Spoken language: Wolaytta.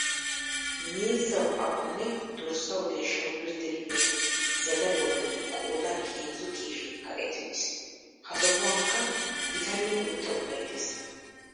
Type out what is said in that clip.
Miizzawu aqo nne dorssawu deeshshawu birdde gidiya zadaluwa bolli qoodan heezzu keeshee kaqetti uttiis. Ha sohuwankka gita nne guutta udulay de'es.